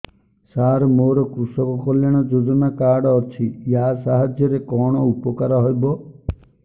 ସାର ମୋର କୃଷକ କଲ୍ୟାଣ ଯୋଜନା କାର୍ଡ ଅଛି ୟା ସାହାଯ୍ୟ ରେ କଣ ଉପକାର ହେବ